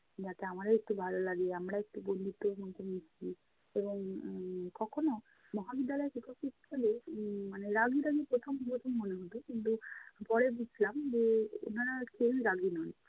যাতে আমাদেরও একটু ভালো লাগে আমরাও একটু বন্ধুত্বের মতো মিশি এবং উম কখনও মহাবিদ্যালয়ের শিক্ষক শিক্ষিকাদের উম মানে রাগী রাগী প্রথম প্রথম মনে হতো, কিন্তু পরে বুঝলাম যে উনারা কেউই রাগী নন।